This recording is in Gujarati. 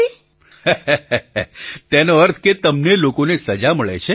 પ્રધાનમંત્રી હસીને તેનો અર્થ કે તમને લોકોને સજા મળે છે